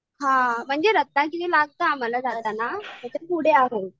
हां म्हणजे रत्नागिरी लागते आम्हाला जाताना पण त्याच्या पुढे आहे.